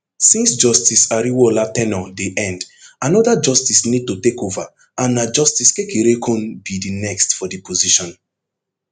since justice ariwoola ten ure dey end anoda justice need to takeova and na justice kekereekun be di next for di position